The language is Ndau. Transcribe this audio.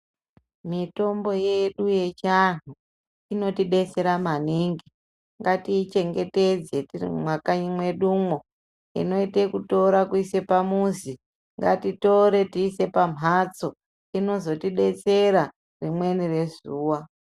Mitombo yedu yechiantu inotidetsera maningi ngatichengetedze tiri mumakanyi mwedu umwo inoite kutora kuise pamuzi ngatitore tise pamhatso tichengetedze inozotidetsera rimweni rezuwa.